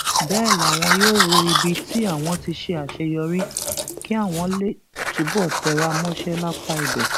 bẹẹ làwọn yóò wo ibi tí àwọn ti ṣe àṣeyọrí kí àwọn lè túbọ tẹra mọṣẹ lápá ibẹ